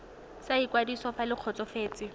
sa ikwadiso fa le kgotsofetse